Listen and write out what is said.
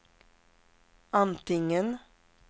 antingen